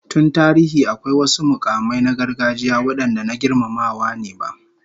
Tun tarihi, akwai wasu mukamai na gargajiya wadanda na girmamawa ne ba